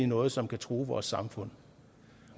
noget som kan true vores samfund